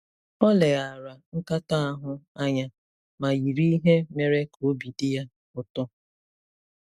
Ọ leghaara nkatọ ahụ anya ma yiri ihe mere ka obi dị ya ụtọ.